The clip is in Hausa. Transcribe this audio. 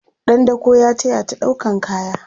ɗan dako ya tayata ɗaukan kaya